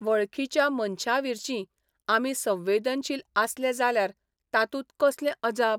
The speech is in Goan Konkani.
वळखीच्या मनशांविर्शी आमी संवेदनशील आसले जाल्यार तातूंत कसलें अजाप?